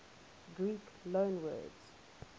greek loanwords